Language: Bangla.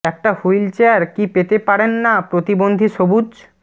একটা হুইল চেয়ার কী পেতে পারেন না প্রতিবন্ধী সবুজ